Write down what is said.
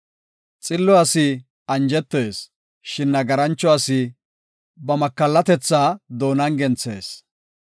Xillo asi anjetees; shin nagarancho asi ba makallatethaa doonan genthees.